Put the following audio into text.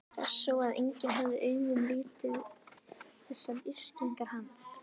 Hressó að enginn hefði augum litið þessar yrkingar hans?